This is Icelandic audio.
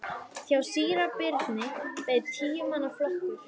Hjá síra Birni beið tíu manna flokkur.